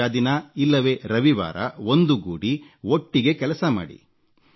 ರಜಾ ದಿನ ಇಲ್ಲವೆ ರವಿವಾರ ಒಂದುಗೂಡಿ ಒಟ್ಟಿಗೇ ಕೆಲಸ ಮಾಡಿ